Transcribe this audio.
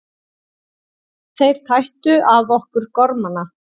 Þeir tættu af okkur garmana.